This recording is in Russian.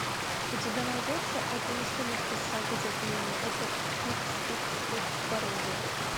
у тебя найдется это не сумерки сага затмение это икс икс икс пародия